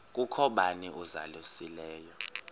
kukho bani uzalusileyo